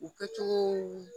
U kɛcogow